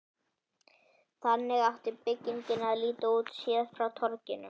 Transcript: Þannig átti byggingin að líta út, séð frá torginu.